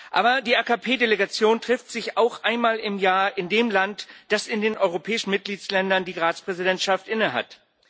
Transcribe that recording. Aber die AKP Delegation trifft sich auch einmal im Jahr in dem Land, das in den europäischen Mitgliedstaaten die Ratspräsidentschaft innehat.